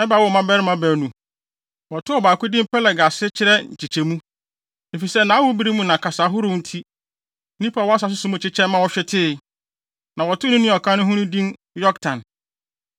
Eber woo mmabarima baanu. Wɔtoo ɔbaako din Peleg a ase kyerɛ Nkyekyɛmu, efisɛ nʼawobere mu na kasa ahorow nti, nnipa a wɔwɔ asase so mu kyekyɛe ma wɔhwetee. Na wɔtoo ne nua a ɔka ne ho no din Yoktan.